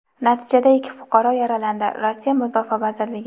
natijada ikki fuqaro yaralandi – Rossiya Mudofaa vazirligi.